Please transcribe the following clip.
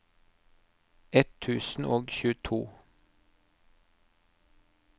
ett tusen og tjueto